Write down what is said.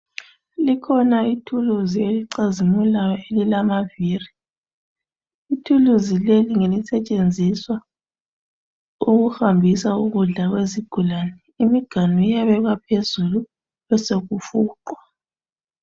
Likhona ithuluzi elicazimulayo elilamaviri. Ithuluzi leli ngelisetshenziswa ukuhambisa ukudla kwezigulani, imiganu iyabekwa phezulu besekufuqwa